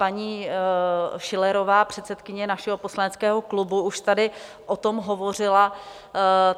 Paní Schillerová, předsedkyně našeho poslaneckého klubu, už tady o tom hovořila.